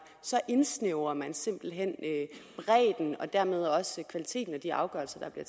så indsnævrer man simpelt hen bredden og dermed også kvaliteten af de afgørelser der bliver